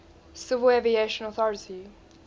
civil aviation authority